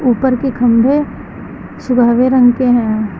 ऊपर के खंभे सब हरे रंग के हैं।